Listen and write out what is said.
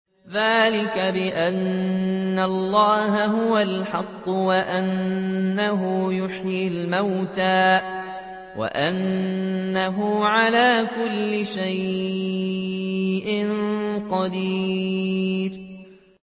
ذَٰلِكَ بِأَنَّ اللَّهَ هُوَ الْحَقُّ وَأَنَّهُ يُحْيِي الْمَوْتَىٰ وَأَنَّهُ عَلَىٰ كُلِّ شَيْءٍ قَدِيرٌ